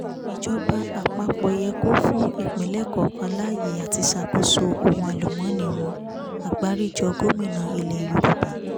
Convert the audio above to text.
ìjọba àpapọ̀ yẹ kó fún ìpínlẹ̀ kọ̀ọ̀kan láyè àti ṣàkóso ohun àlùmọ́ọ́nì wọn agbáríjọ gómìnà ilẹ̀ yorùbá